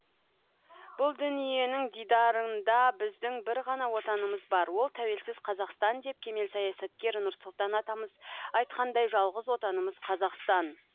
бұл дүниенің дидарында біздің бір ғана отанымыз бар ол тәуелсіз қазақстан деп кемел саясаткер нұрсұлтан атамыз айтқандай жалғыз отанымыз қазақстан